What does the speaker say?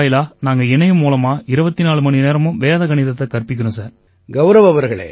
இந்த அமைப்பு வாயிலா நாங்க இணையம் மூலமா 24 மணிநேரமும் வேத கணிதத்தைக் கற்பிக்கறோம் சார்